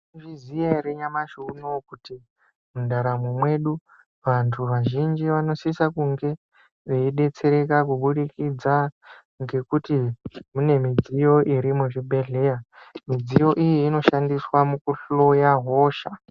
Maizviziva here nyamashi unowu kuti mudaramo mwedu vantu vazhinji vanosisa kunge veibetseredza kubudikidza ngekuti mune midziyo iri muzvibhedhlera, midziyo iyi inoshandiswa mukuhloya hosha.